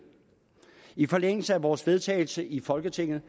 i forlængelse af vores vedtagelse i folketinget